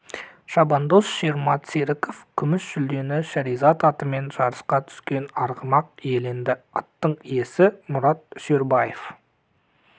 шабандоз шермат серіков күміс жүлдені шаіризад атымен жарысқа түскен арғымақ иеленді аттың иесі мұрат үсербаев